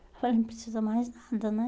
Eu falei, não precisa mais nada, né?